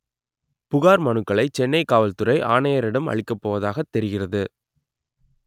புகார் மனுக்களை சென்னை காவல்துறை ஆணையரிடம் அளிக்கப்போவதாக தெரிகிறது